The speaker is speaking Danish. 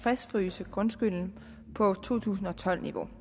fastfryse grundskylden på to tusind og tolv niveau